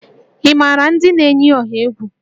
Ị maara ndị na-eyi ọha egwu?